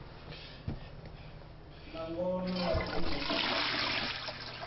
na ngona ya khwine i